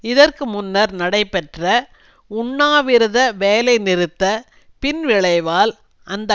இதற்கு முன்னர் நடைபெற்ற உண்ணாவிரத வேலைநிறுத்த பின் விளைவால் அந்த